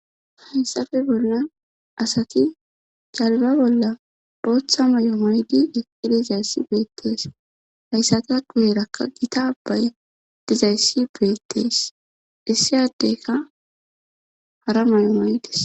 haysafe bolla asati calba bolla booththa may7o maydi eqilizayssi beettees hayssata gu heerakka gita bay dizayssi beettees issiyaddeyka hara may7o maydis